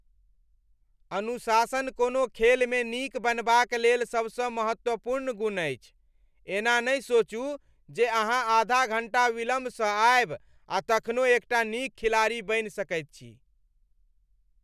अनुशासन कोनो खेलमे नीक बनबाक लेल सबसँ महत्वपूर्ण गुण अछि। एना नहि सोचू जे अहाँ आधा घण्टा विलम्बसँ आयब आ तखनो एकटा नीक खिलाड़ी बनि सकैत छी।